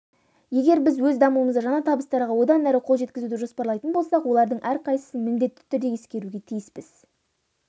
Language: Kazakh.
егер біз өз дамуымызда жаңа табыстарға одан әрі қол жеткізуді жоспарлайтын болсақ олардың әрқайсысын міндетті түрде ескеруге тиіспіз